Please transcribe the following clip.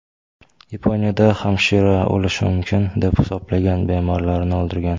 Yaponiyada hamshira o‘lishi mumkin deb hisoblagan bemorlarini o‘ldirgan.